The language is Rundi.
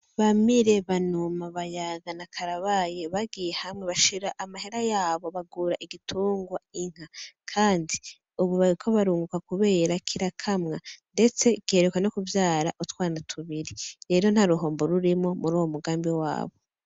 Bamire, Banuma, Bayaga na Karabaye bagiye hamwe bashira amahera yabo bagura igitugwa inka, kandi ubu bariko barunguka kubera kirakamwa, ndetse giheruka no kuvyara utwana tubiri, rero ntaruhombo rurimwo mur'uwo mugambi wabo.